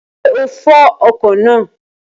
Ṣé o fọ ọkọ̀ náà?